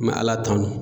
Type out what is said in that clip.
ala tanu